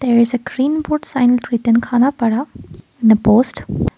there is a green board sign written khanapada in the post.